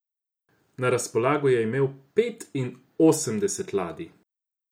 Na razpolago je imel petinosemdeset ladij.